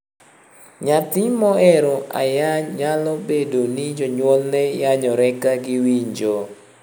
Nyathi mohero ayany nyalo bedo ni jonyuolne yanyore ka giwinjo.